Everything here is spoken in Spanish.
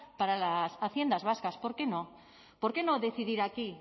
para las haciendas vascas por qué no por qué no decidir aquí